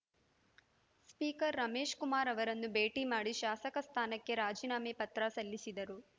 speaker Ramesh Kumar ಅವರನ್ನು ಭೇಟಿಮಾಡಿ ಶಾಸಕ ಸ್ಥಾನಕ್ಕೆ ರಾಜೀನಾಮೆ ಪತ್ರ ಸಲ್ಲಿಸಿದರು